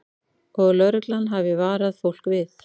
Og lögreglan hafi varað fólk við